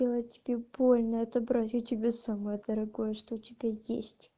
сделать тебе больно отобрать у тебя самое дорогое что у тебя есть